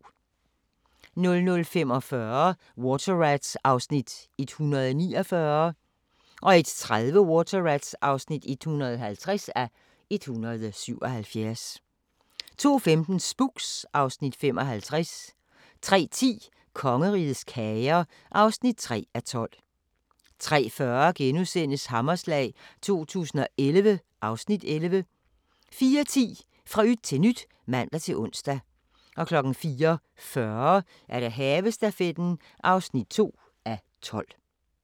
00:45: Water Rats (149:177) 01:30: Water Rats (150:177) 02:15: Spooks (Afs. 55) 03:10: Kongerigets kager (3:12) 03:40: Hammerslag 2011 (Afs. 11)* 04:10: Fra yt til nyt (man-ons) 04:40: Havestafetten (2:12)